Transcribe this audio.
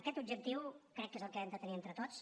aquest objectiu crec que és el que hem de tenir entre tots